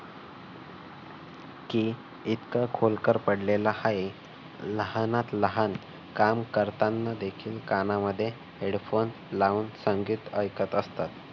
कि इतकं खोलकर पडलेला आहे. लहानात लहान काम करताना देखील कानामध्ये headphone लावून संगीत ऐकत असतात.